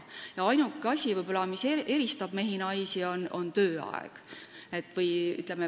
Ainuke asi, mis eristab mehi naistest, on võib-olla suhtumine tööaega.